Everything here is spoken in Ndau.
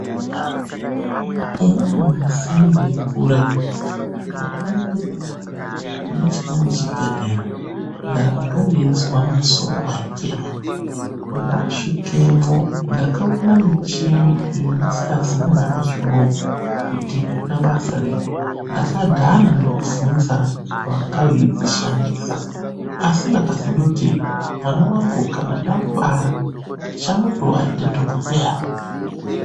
Umweni musi ndeikura ndakaende kune chimweni chibhehlera ndanga ndeizwa musoro waitema. Ndasvikemwo ndakaona michini yendisikazii nanyamashi unowu kuti inoita basa rei, ndakadhana nekubvunza vanga veidzishandisa asi ndakazondoti mwana wangu kana ndamubara ndichamutiwo aite dhokodheya.